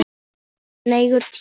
Það er nægur tími.